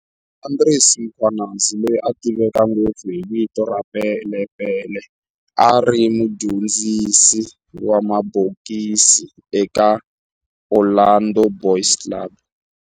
Andries Mkhwanazi, loyi a tiveka ngopfu hi vito ra Pele Pele, a ri mudyondzisi wa mabokisi eka Orlando Boys Club.